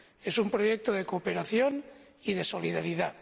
Es un proyecto de cooperación y de solidaridad